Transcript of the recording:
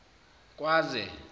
kwaze